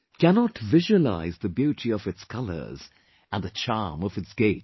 cannot visualize the beauty of its colors and the charm of its gait